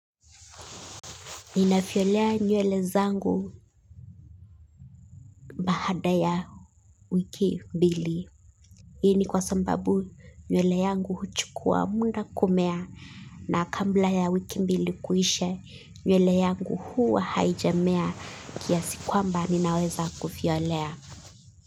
Ninavyolea nywele zangu baada ya wiki mbili. Hii ni kwa sababu nywele yangu huchukua muda kumea na kabla ya wiki mbili kuisha nywele yangu huwa haijamea kiasi kwamba ninaweza kufiolea.